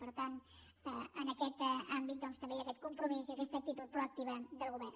per tant en aquest àmbit doncs també hi ha aquest compromís i aquesta actitud proactiva del govern